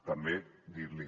també dir li